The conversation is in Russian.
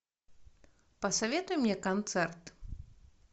посоветуй мне концерт